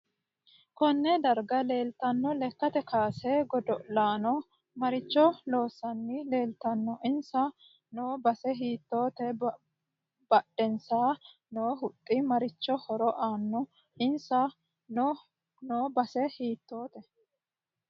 Konne darga leeltaano lekkate kaase godolaanno maricho losanni leeltanno insa noo base hiitoote badeensaani noo huxi marichi horo aano insa noo baae hiitoote